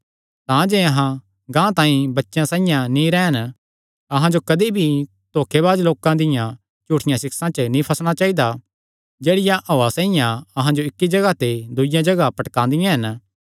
तांजे अहां गांह तांई बच्चेयां साइआं नीं रैह़न अहां जो कदी भी धोखे बाज लोकां दिया झूठिया सिक्षा च नीं फसणा चाइदा जेह्ड़ियां हौआ साइआं अहां जो इक्की जगाह ते दूईआ जगाह पटकदियां हन